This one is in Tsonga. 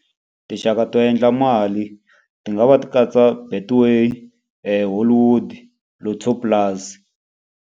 Tinxaka to endla mali ti nga va ti katsa Betway, Hollywood, Lotto Plus.